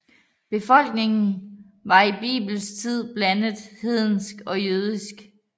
Befolkningen var i bibelsk tid blandet hedensk og jødisk